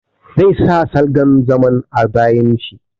Zai sa salgan zaman a bayin shi.